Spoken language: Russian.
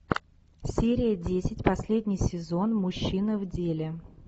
серия десять последний сезон мужчина в деле